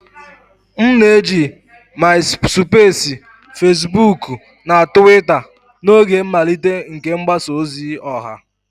M na-eji MaịSụpeesi, Fesibuukụ na Tụwita n'oge mmalite nke mgbasa ozi ọha.